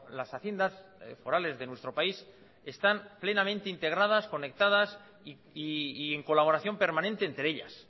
las haciendas forales de nuestro país están plenamente integradas conectadas y en colaboración permanente entre ellas